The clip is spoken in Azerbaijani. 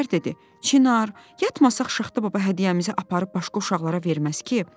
Gülər dedi: "Çinar, yatmasaq Şaxta baba hədiyyəmizi aparıb başqa uşaqlara verməz ki?"